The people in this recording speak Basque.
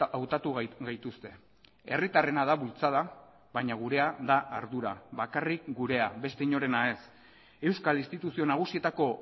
hautatu gaituzte herritarrena da bultzada baina gurea da ardura bakarrik gurea beste inorena ez euskal instituzio nagusietako